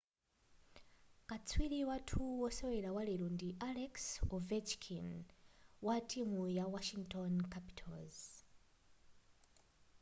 katswiri wathu wosewera walero ndi alex ovechkin wa timu ya washington capitals